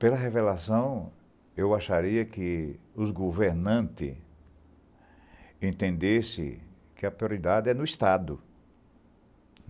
Pela revelação, eu acharia que os governantes entendessem que a prioridade é no Estado.